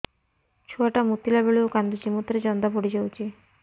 ଛୁଆ ଟା ମୁତିଲା ବେଳକୁ କାନ୍ଦୁଚି ମୁତ ରେ ଜନ୍ଦା ପଡ଼ି ଯାଉଛି